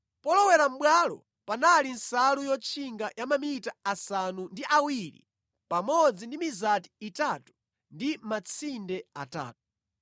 polowera mʼbwalo panali nsalu yotchinga ya mamita asanu ndi awiri pamodzi ndi mizati itatu ndi matsinde atatu.